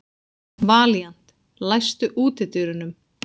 Valíant, læstu útidyrunum.